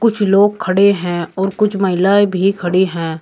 कुछ लोग खड़े हैं और कुछ महिलाएं भी खड़ी है।